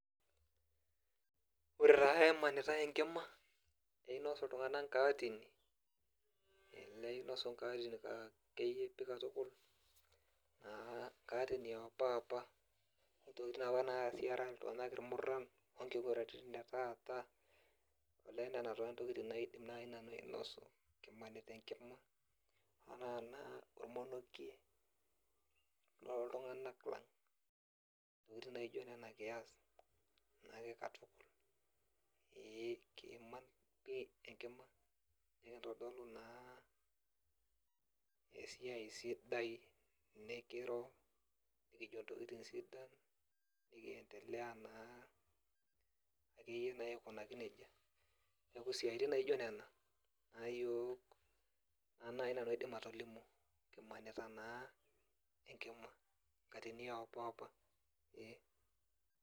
Ore taa emanitai enkima, neinosu iltung'anak inkaatini, neinosu inkaatini akeyie pi katukul, naa inkaatini ompapa, intokiting naapa nasi era iltung'anak irmurran, onkiguranitin etaata, olee nena taa ntokiting naidim nai nanu ainosu kimanita enkima, ana naa ormonokie loltung'anak lang. Intokiting naijo nena kias, nake katukul. Ee kiiman pi enkima, nikintodolu naa esiai sidai, nikiro, nikijo ntokiting sidan, nikiendelea naa akeyie naa aikunaki nejia. Neeku siaitin naijo nena, nayiok na nai nanu aidim atolimu, kimanita naa enkima. Nkatini ompapa, ee.